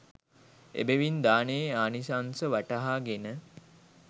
එබැවින් දානයේ ආනිශංස වටහාගෙන